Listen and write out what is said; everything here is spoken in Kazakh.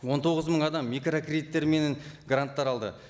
он тоғыз мың адам микрокредиттер менен гранттар алды